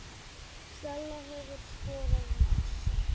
Stella hefur skorað mest